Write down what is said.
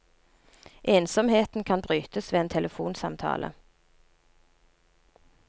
Ensomheten kan brytes ved en telefonsamtale.